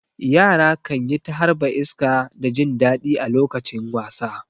Yara kan yi ta harba iska da jin daɗi a lokacin wasa.